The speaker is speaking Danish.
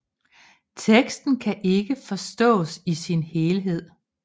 Teksten kan ikke forstås i sin helhed